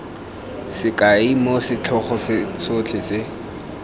sekai moo setlhogo sotlhe se